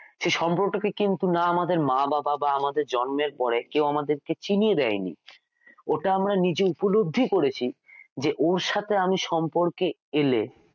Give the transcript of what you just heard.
সেই সম্পর্কটা কে কিন্তু না আমাদের মা বাবা বা আমাদের জন্মের পরে কেউ আমাদের কে চিনিয়ে দেয়নি ওটা আমরা নিজে উপলব্ধি করেছি যে ওর সাথে আমি সম্পর্কে এলে,